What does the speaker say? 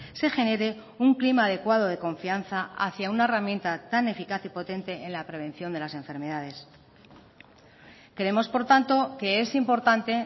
se genere un clima adecuado de confianza hacia una herramienta tan eficaz y potente en la prevención de las enfermedades creemos por tanto que es importante